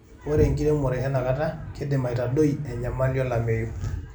Ore enkiremore etenakata kidim aitadoi enyamali olameyu